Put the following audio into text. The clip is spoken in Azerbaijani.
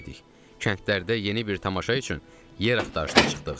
Kəndlərdə yeni bir tamaşa üçün yer axtarışına çıxdıq.